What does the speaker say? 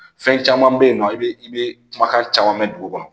Fɛn caman bɛ yen nɔ i bɛ i bɛ kumakan caman mɛn dugu kɔnɔ